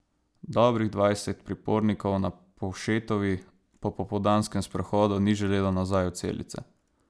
Dobrih dvajset pripornikov na Povšetovi po popoldanskem sprehodu ni želelo nazaj v celice.